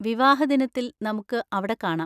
വിവാഹദിനത്തിൽ നമുക്ക് അവിടെ കാണാം!